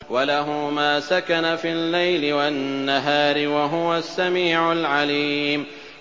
۞ وَلَهُ مَا سَكَنَ فِي اللَّيْلِ وَالنَّهَارِ ۚ وَهُوَ السَّمِيعُ الْعَلِيمُ